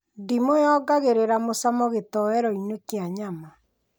Ndimũ yongagĩrĩra mũcamo gĩtowero-inĩ kĩa nyama